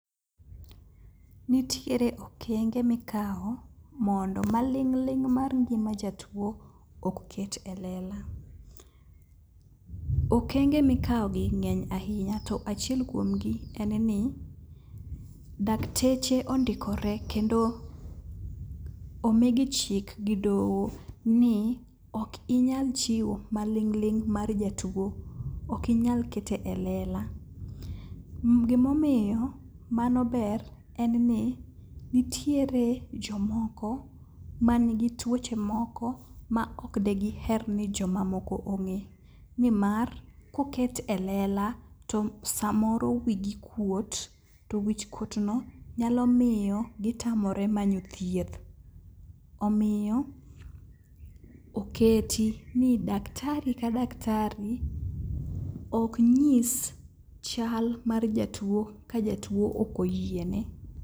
Nitiere okenge mikao mondo maling'ling' mar ngima jatuo ok ket e lela. Okenge mikao gi ng'eny ahinya to achiel kuomgi en ni, dakteche ondikore kendo omigi chik gi doho ni ok inyal chiwo maling'ling' mar jatuo okinyal keto e lela. Gimomiyo mano ber en ni nitiere jomoko manigi tuoche moko maok degiher ni jomamoko ong'e, nimar koket e lela to samoro wigi kuot to wichkuotno nyalo miyo gitamore manyo thieth. Omiyo oketi ni daktari ka daktari oknyis chal mar jatuo ka jatuo okoyiene.